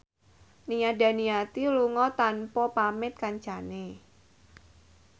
Nia Daniati lunga tanpa pamit kancane